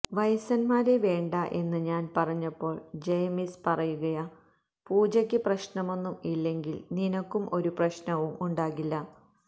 വയസ്സന്മാരെ വേണ്ട എന്ന് ഞാൻ പറഞ്ഞപ്പോൾ ജയമിസ് പറയുകയാ പൂജക്ക് പ്രശ്നമൊന്നും ഇല്ലെങ്കിൽ നിനക്കും ഒരു പ്രശ്നവും ഉണ്ടാകില്ല